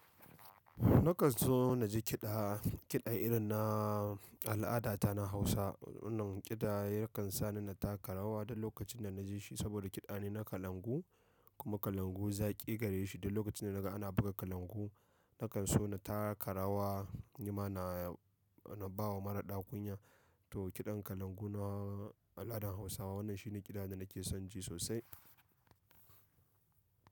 Nakan so na ji kiɗa, kiɗa irin na al’ada ta na Hausa. Wannan kiɗa yakan sa ni na taka rawa duk lokacin da na ji shi saboda kiɗa ne na kalangu kuma kalangu zaƙi gare shi. Duk lokacin da naga ana buga kalangu nakan so na taka rawa, ni ma na, na ba wa maraɗa kunya. To kiɗan kalangu na al’adan Hausawa wannan shi ne kiɗa da nake son ji sosai.